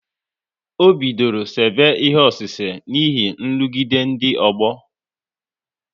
Ọ bidoro sebe ihe ọsise n'ihi nrụgide ndị ọgbọ